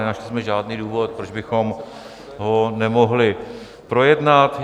Nenašli jsme žádný důvod, proč bychom ho nemohli projednat.